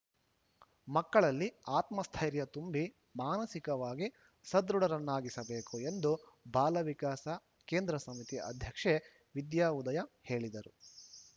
ಮಕ್ಕಳಲ್ಲಿ ಆತ್ಮಸ್ಥೈರ್ಯ ತುಂಬಿ ಮಾನಸಿಕವಾಗಿ ಸದೃಢರನ್ನಾಗಿಸಬೇಕು ಎಂದು ಬಾಲ ವಿಕಾಸ ಕೇಂದ್ರ ಸಮಿತಿ ಅಧ್ಯಕ್ಷೆ ವಿದ್ಯಾಉದಯ ಹೇಳಿದರು